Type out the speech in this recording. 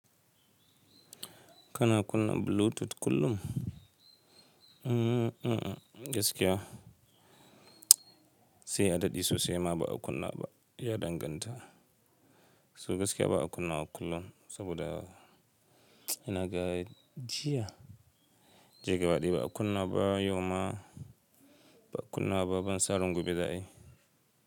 Kana kunna Bluetooth kullum? Mm-mm, gaskiya sai a daɗi sosai ma ba a kunna ba, ya danganta. So gaskiya ba a kunna kullum, saboda ina ga jiya, jiya gabaɗaya ba a kunna ba, yau ma ba a kunna ba, ban sa ran gobe za ai.